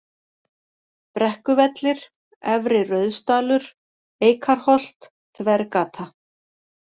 Brekkuvellir, Efri-Rauðsdalur, Eikarholt, Þvergata